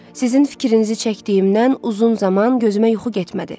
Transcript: Sizin fikrinizi çəkdiyimdən uzun zaman gözümə yuxu getmədi.